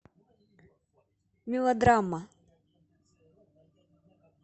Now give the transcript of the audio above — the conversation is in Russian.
мелодрама